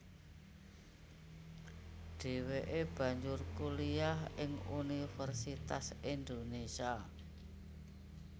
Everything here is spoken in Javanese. Dheweke banjur kuliah ing Universitas Indonesia